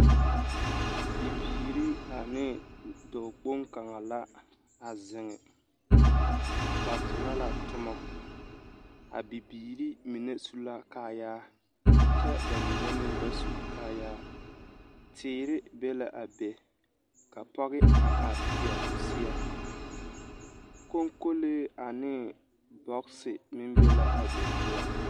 Bibiiri ane dɔɔkpoŋe kaŋa la a zeŋ ba tona ka tomɔ a bibiiri mine su la kaayaa kyɛ ba mine meŋ ba su kaayaa teere bebe la a be ka pɔɡe a are teɛ o seɛ kɔŋkolee ane bɔɡese meŋ be la a be poɔŋ.